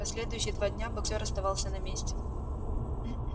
последующие два дня боксёр оставался на месте